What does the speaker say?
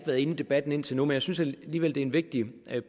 været inde i debatten indtil nu men jeg synes alligevel det en vigtig